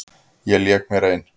Ég lék mér ein.